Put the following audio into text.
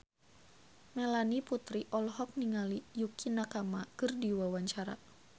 Melanie Putri olohok ningali Yukie Nakama keur diwawancara